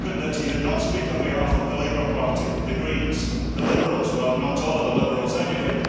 He did not speak on behalf of the Labour Party, the Greens, the Liberals well not all of the Liberals anyway.